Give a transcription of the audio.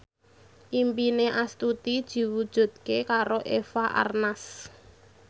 impine Astuti diwujudke karo Eva Arnaz